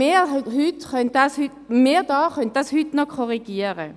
Doch wir können dies heute hier korrigieren.